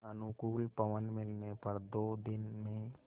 अनुकूल पवन मिलने पर दो दिन में